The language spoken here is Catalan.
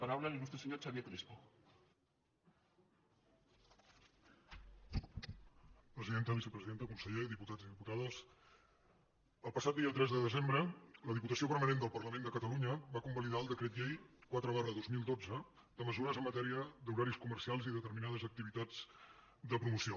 presidenta vicepresidenta conseller diputats i diputades el passat dia tres de desembre la diputació permanent del parlament de catalunya va convalidar el decret llei quatre dos mil dotze de mesures en matèria d’horaris comercials i determinades activitats de promoció